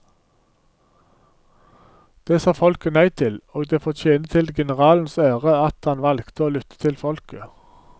Det sa folket nei til, og det får tjene til generalens ære at han valgte å lytte til folket.